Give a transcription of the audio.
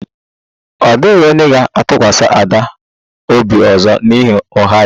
Ọ dịghị onye ga-atụkwasị Ada obi ọzọ n'ihi ụgha ya